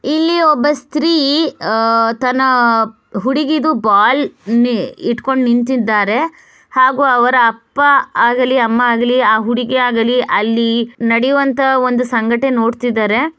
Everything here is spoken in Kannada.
ಇಲ್ಲಿ ಒಬ್ಬ ಸ್ತ್ರೀ ಅಹ್ ತನ್ನ ಹುಡುಗಿದು ಬಾಲ್ ಇಟ್ಕೊಂಡು ನಿಂತಿದ್ದಾರೆ ಹಾಗೂ ಅವರ ಅಪ್ಪ ಆಗಲಿ ಅಮ್ಮ ಆಗಲಿ ಆ ಹುಡುಗಿ ಆಗಲಿ ಅಲ್ಲಿ ನಡಿಯುವಂತ ಒಂದು ಸಂಘಟನೆ ನೋಡುತ್ತಿದ್ದಾರೆ.